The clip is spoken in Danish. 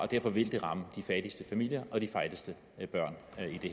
derfor vil det ramme de fattigste familier og de fattigste børn